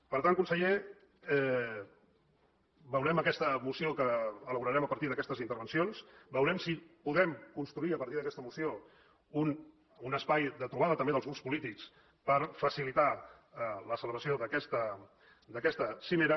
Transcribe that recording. per tant conseller veurem aquesta moció que elaborarem a partir d’aquestes intervencions veurem si podem construir a partir d’aquesta moció un espai de trobada també dels grups polítics per facilitar la celebració d’aquesta cimera